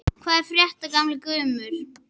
Hvað er að frétta, gamli gammur?